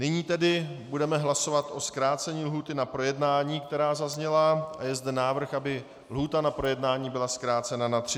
Nyní tedy budeme hlasovat o zkrácení lhůty na projednání, která zazněla, a je zde návrh, aby lhůta na projednání byla zkrácena na 30 dnů.